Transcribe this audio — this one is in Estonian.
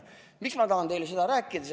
Miks ma tahan teile seda rääkida?